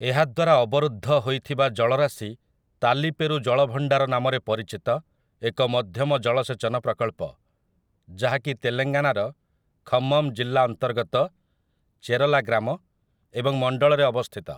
ଏହାଦ୍ୱାରା ଅବରୁଦ୍ଧ ହୋଇଥିବା ଜଳରାଶି ତାଲିପେରୁ ଜଳଭଣ୍ଡାର ନାମରେ ପରିଚିତ ଏକ ମଧ୍ୟମ ଜଳସେଚନ ପ୍ରକଳ୍ପ, ଯାହା କି ତେଲଙ୍ଗାନାର ଖମ୍ମମ ଜିଲ୍ଲା ଅନ୍ତର୍ଗତ ଚେରଲା ଗ୍ରାମ ଏବଂ ମଣ୍ଡଳରେ ଅବସ୍ଥିତ ।